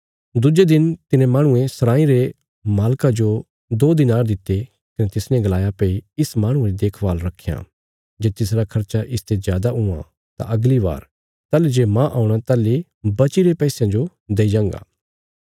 दुज्जे दिन तिने माहणुये सराँई रे मालका जो दो दिनार दित्ते कने तिसने गलाया भई इस माहणुये री देखभाल रखयां जे तिसरा खर्चा इसते जादा हुआं तां अगली बार ताहली जे माह औणा ताहली बचीरे पैसयां जो देई जांगा